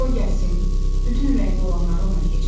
Qoy gəlsin, bütün ürəyimdə olanları ona deyəcəm.